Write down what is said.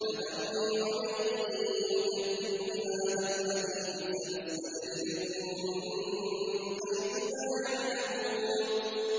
فَذَرْنِي وَمَن يُكَذِّبُ بِهَٰذَا الْحَدِيثِ ۖ سَنَسْتَدْرِجُهُم مِّنْ حَيْثُ لَا يَعْلَمُونَ